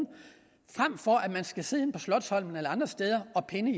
frem for at man skal sidde inde på slotsholmen eller andre steder og pinde